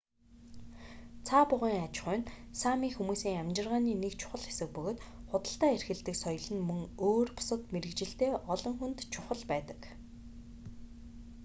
цаа бугын аж ахуй нь сами хүмүүсийн амьжиргааны нэг чухал хэсэг бөгөөд худалдаа эрхэлдэг соёл нь мөн өөр бусад мэргэжилтэй олон хүнд чухал байдаг